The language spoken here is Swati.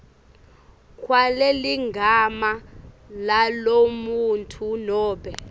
kwaleligama lalomuntfu nobe